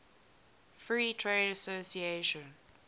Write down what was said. free trade association